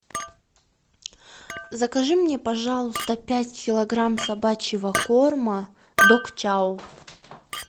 закажи мне пожалуйста пять килограмм собачьего корма дог чау